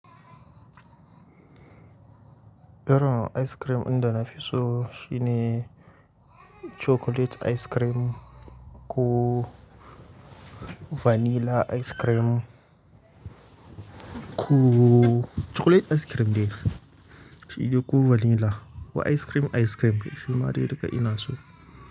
Iron ice cream ɗin da na fi so shine chocolate ice cream ko vanilla ice cream ko chocolate ice cream dai shi dai ko vanilla ko ice cream ice cream shima dai duka ina so.